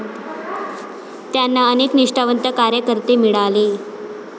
त्यांना अनेक निष्ठावंत कार्यकर्ते मिळाले.